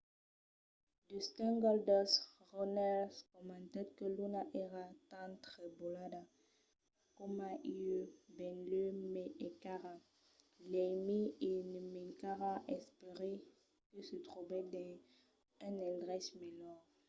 dustin goldust runnels comentèt que luna èra tan trebolada coma ieu... benlèu mai encara... l'aimi e me mancarà ... espèri que se tròbe dins un endrech melhor